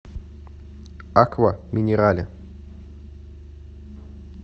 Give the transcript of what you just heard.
аква минерале